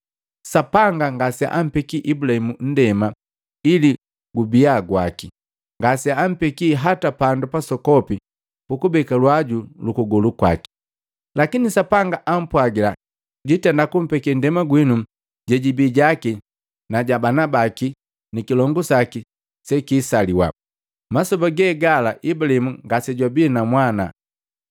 Sapanga ngaseampeki Ibulaimu ndema ili jibia jaki, ngaseampekii hata pandu pasokopi pukubeka lwaji lukugolu kwaki. Lakini Sapanga ampwagila jwiitenda kumpekee ndema jenu jiibia jaki na jabana baki nikilongu saki sekiisaliwa, masoba ge gala Ibulaimu ngasejwabii na mwana.